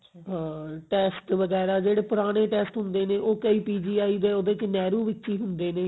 ਹਾਂ test ਵਗਿਆਰਾ ਜਿਹੜੇ ਪੁਰਾਣੇ test ਹੁੰਦੇ ਨੇ ਉਹ ਕਈ PGI ਦੇ ਨਹਿਰੂ ਵਿੱਚ ਹੀ ਹੁੰਦੇ ਨੇ